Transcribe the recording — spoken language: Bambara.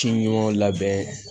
Ci ɲɔgɔn labɛn